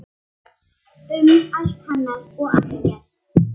Um allt hennar og ekkert.